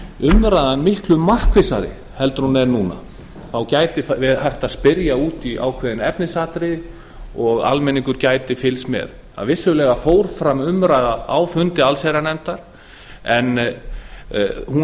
umræðan miklu markvissari heldur en hún er núna þá væri hægt að spyrja út í ákveðin efnisatriði og almenningur gæti fylgst með vissulega fór fram umræða á fundi allsherjarnefndar en hún